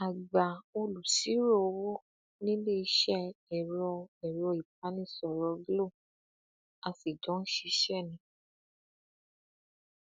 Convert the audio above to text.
àgbà olùṣirò owó ni níléeṣẹ ẹrọ ẹrọ ìbánisọrọ glo a sì jọ ń ṣiṣẹ ni